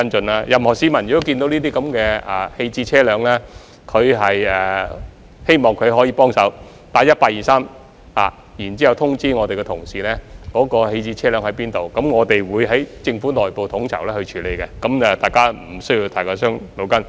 我希望任何市民如果看到棄置車輛，可以幫忙致電 1823， 通知我們的同事有關棄置車輛的位置，我們會在政府內部統籌處理，大家無需太過煩惱。